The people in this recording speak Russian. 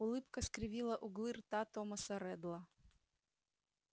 улыбка скривила углы рта томаса реддла